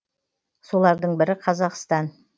солардың бірі қазақстан